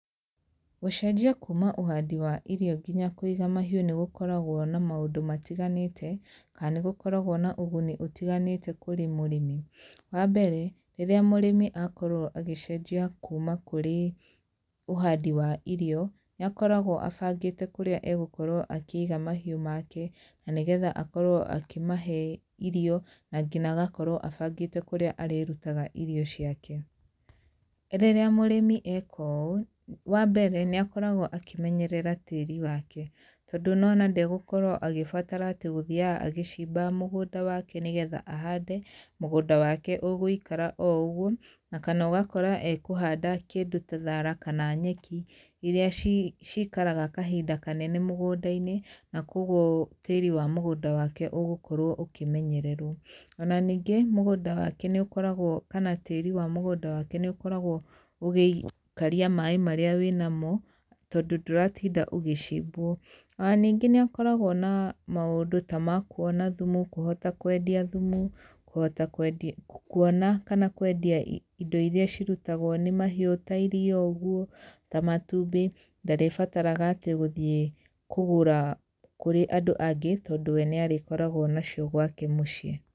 Gũcenjia kuuma ũhandi wa irio nginya kũiga mahiũ nĩgũkoragwo na maũndũ matiganĩte kana nĩ gũkoragwo na ũguni ũtiganĩte kũrĩ mũrĩmi. Wambere rĩrĩa mũrĩmi akorwo agĩcenjia kuuma kũrĩ ũhandĩ wa irio, nĩ akoragwo abangĩte kũrĩa agũkorwo akĩiga mahiũ make na nĩgetha akorwo akĩmahe irio na nginya agakorwo abangĩte kũrĩa arĩrutaga irio ciake. Rĩrĩa mũrĩmi eka ũũ wambere nĩ akoragwo akĩmenyerera tĩri wake tondũ nĩ wona ndagũkorwo agĩbatara atĩ gũthiaga agĩciba mũgũnda wake nĩgetha ahande, mũgũnda wake ũgũikara oũguo kana ũgakora ekũhanda kĩndũ ta thara kana nyeki iria cikaraga kahinda kanene mũgũnda-inĩ na kwoguo tĩri wa mũgũnda wake ũgũkorwo ũkĩmenyererwo. Ona ningĩ mũgũnda wake nĩ ũkoragwo kana tĩri wa mũgũnda wake nĩ ũkoragwo ũgĩikaria maĩ marĩa wĩnamo tondũ ndũratinda ũgĩcimbwo. Ona ningĩ no akoragwo na maũndũ ta mau makũona thumu, kũhota kwendia thumu, kuhota kũona kana kwendia indo iria cirutagwo nĩ mahiũ ta iriia ũgũo ta matumbi ndarĩbataraga atĩ gũthiĩ kũgũra kũrĩ andũ angĩ tondũ we nĩ arĩkoragwo nacio gwake mũciĩ.